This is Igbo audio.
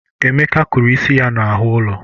Emeka kụrụ isi ya n'ahụ ụlọ.